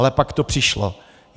Ale pak to přišlo.